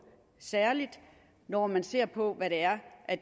særlig når man ser på hvad det er